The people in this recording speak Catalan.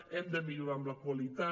hem de millorar amb la qualitat